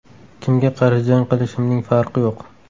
Kimga qarshi jang qilishimning farqi yo‘q.